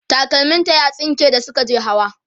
takalmim ta ya tsinke da Suka je hawa